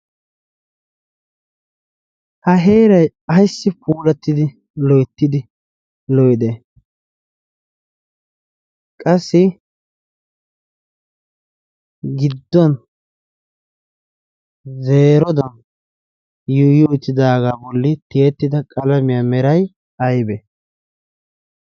ha heerai aissi puurattidi loittidi loide qasi gidduwan zeerodan yuyu ettidaagaa bolli tiyettida qalamiyaa merai aibe